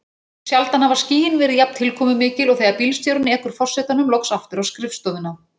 Sjaldan hafa skýin verið jafn tilkomumikil og þegar bílstjórinn ekur forsetanum loks aftur á skrifstofuna.